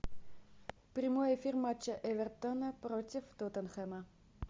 прямой эфир матча эвертона против тоттенхэма